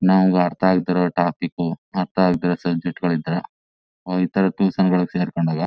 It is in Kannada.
ನಂಗು ಆರತ ಆಗ್ದಿರೋ ಟಾಪಿಕ್ ಅರ್ತ ಆಗ್ದೇ ಇರೋ ಟ್ಯೂಷನ್ ಗಳು ಸೆರಕೊಂಡಾಗ--